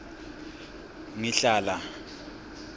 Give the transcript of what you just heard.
ngihlala